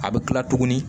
A bɛ kila tuguni